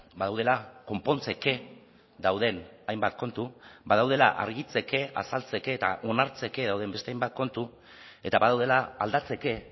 badaudela konpontzeke dauden hainbat kontu badaudela argitzeke azaltzeke eta onartzeke dauden beste hainbat kontu eta badaudela aldatzeke